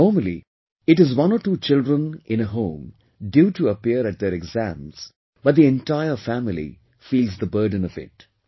Normally it is one or two children in a home due to appear at their exams, but the entire family feels the burden of it